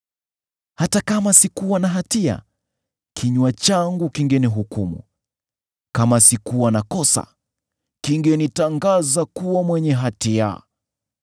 Hata kama sikuwa na hatia, kinywa changu kingenihukumu; kama sikuwa na kosa, kingenitangaza kuwa mwenye hatia.